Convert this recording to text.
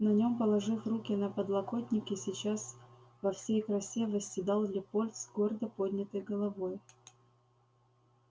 на нём положив руки на подлокотники сейчас во всей красе восседал лепольд с гордо поднятой головой